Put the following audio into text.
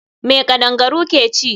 Me kadangaru ke ci?